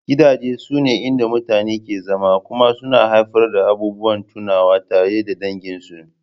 Gidaje sune inda mutane ke zama kuma suna haifar da abubuwan tunawa tare da danginsu